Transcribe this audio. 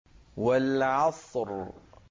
وَالْعَصْرِ